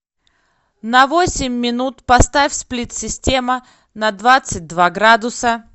на восемь минут поставь сплит система на двадцать два градуса